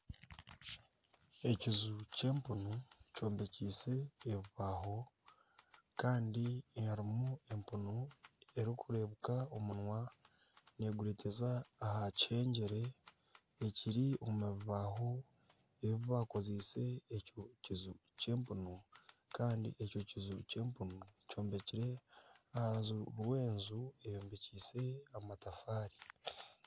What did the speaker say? Ekiju ky'empunu kyombekiise ebibaho kandi harimu empunu erikureebeka omunwa neegureteza aha kihengyere ekiri omu bibaaho ebibakoziise ekyo kiju ky'empunu kandi ekyo kiju ky'empunu kyombekire aha rubaju rw'enju eyombekire amatafaari.